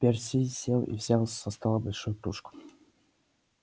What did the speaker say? перси сел и взял со стола большую кружку